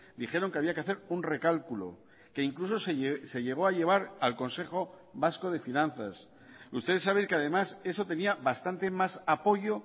dijeron que había que hacer un recálculo que incluso se llegó a llevar al consejo vasco de finanzas ustedes saben que además eso tenía bastante más apoyo